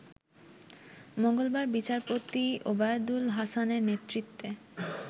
মঙ্গলবার বিচারপতি ওবায়দুল হাসানের নেতৃত্বে